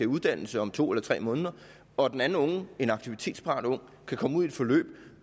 uddannelse om to eller tre måneder og den anden unge en aktivitetsparat ung kan komme ud i et forløb